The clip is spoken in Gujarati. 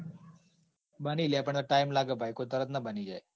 બની લ્યા પણ time લાગે ભાઈ કોઈ તરત ના બની જાય.